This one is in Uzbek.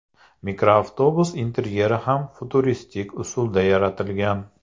Mikroavtobus interyeri ham futuristik usulda yaratilgan.